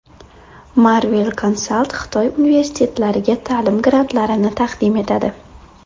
Marvel Consult Xitoy universitetlariga ta’lim grantlarini taqdim etadi!